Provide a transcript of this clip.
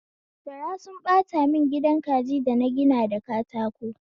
Gara sunyi ɓata mun gidan kaji dana gina da katako